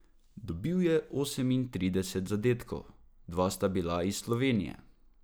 Letno jih po podatkih policije ukradejo okoli tri tisoč.